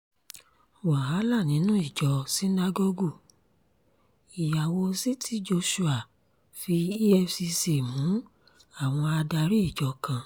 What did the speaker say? wàhálà nínú ìjọ sinagogue ìyàwó ct joshua fi efcc mú àwọn adarí ìjọ kan